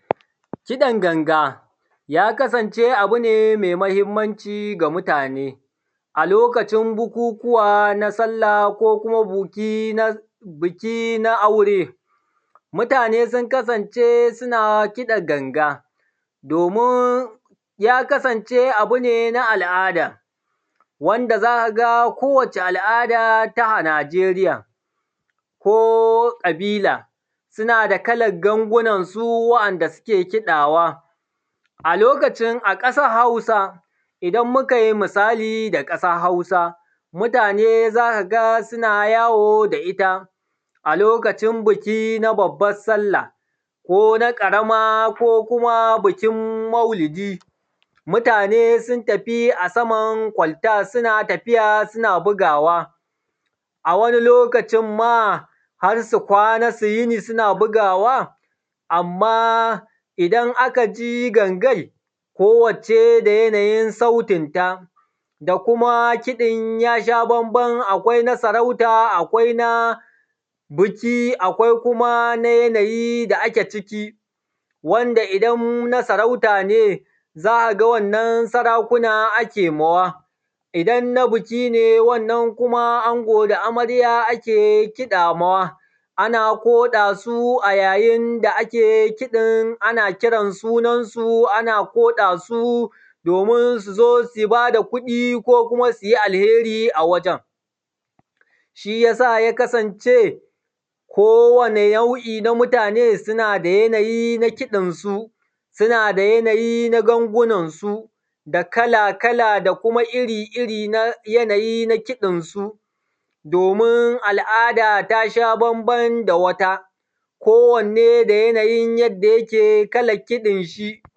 Kiɗan ganga ya kasance abune mai mahimmanci ga mutane, a lokacin bukukuwa na sallah ko kuma buki na aure. Mutane sun kasance suna kiɗa ganga, domin ya kasance abune na al’ada wanda zaka ko wani al’ada najeriya ko kabila suna da kalan gangunansu wanda suke kaɗawa. A lokacin a ƙasar hausa idan Mukai misali da ƙasan hausa mutane zakaga suna yawo da itta, lokacin biki na babbar sallah kona ƙarama ko na maulidi, muatne sun tafi akan kwalta sun tafi suna bugawa, a wani lokacin ma harsu kwana su yini suna bugawa, amma idan a kaji gangar ko wacce da yanayin sautin ta.. Da kuma kiɗin yasha banban akwai na sarauta akwai na biki akwai kuma na yanayi da ake ciki wanda idan na sarauta ne, za’aga wannan sarakuna ake mawa. Wanda idan na biki ne shikuma ango da amarya ake kiɗa mawa ana koɗa su ayayinda ake kiɗin ana kiran sunan su ana koɗa su, domin suzo su bada kuɗi ko kuma alheri a wujen, shiyasa ya kasance kowani nau’I na mutane suna da yanayi na kiɗan su, su nada gangunan su da kala kala da kuma iri iri da yanayi na kiɗan su. Domin al’ada tasha banban da da wata ko wanne da yanayin yanda yake kalan kiɗinshi.